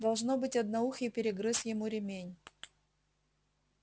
должно быть одноухий перегрыз ему ремень